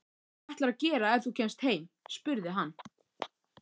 Hvað ætlarðu að gera ef þú kemst heim? spurði hann.